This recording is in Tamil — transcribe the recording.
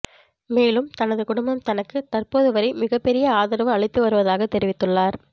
மேலும் தனது குடும்பம் தனக்கு தற்போது வரை மிக பெரிய ஆதரவு அளித்தவருவதாக தெரிவித்துள்ளார்